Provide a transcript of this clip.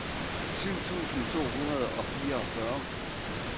syv tusind to hundrede og fireogfyrre